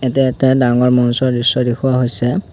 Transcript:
তে এখন ডাঙৰ মঞ্চৰ দৃশ্য দেখুওৱা হৈছে।